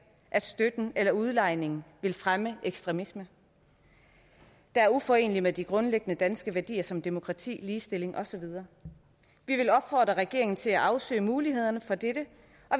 at støtten eller udlejningen vil fremme ekstremisme der er uforenelig med de grundlæggende danske værdier som demokrati ligestilling og så videre vi vil opfordre regeringen til at afsøge mulighederne for det